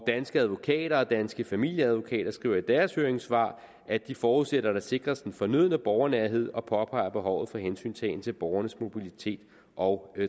danske advokater og danske familieadvokater skriver i deres høringssvar at de forudsætter at der sikres den fornødne borgernærhed og påpeger behovet for hensyntagen til borgernes mobilitet og